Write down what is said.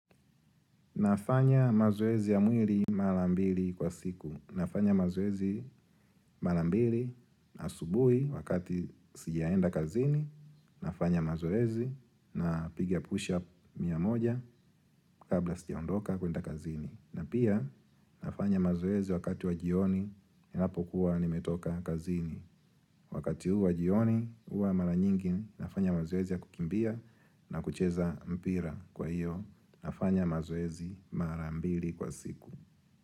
Nafanya mazoezi ya mwili mara mbili kwa siku. Nafanya mazoezi mara mbili asubuhi wakati sijaenda kazini. Nafanya mazoezi na piga push-up mia moja kabla sijaondoka kuenda kazini. Na pia, nafanya mazoezi wakati wa jioni, ninapokua nimetoka kazini. Wakati huu wa jioni, hua mara nyingi, nafanya mazoezi ya kukimbia na kucheza mpira kwa hiyo. Nafanya mazoezi mara mbili kwa siku.